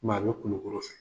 Kɔmi a bɛ Kulikkɔrɔ fɛ.